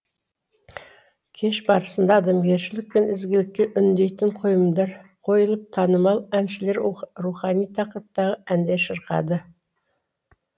кеш барысында адамгершілік пен ізгілікке үндейтін қойылымдар қойылып танымал әншілер рухани тақырыптағы әндер шырқады